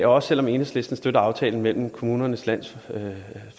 også selv om enhedslisten støtter aftalen mellem kommunernes landsforening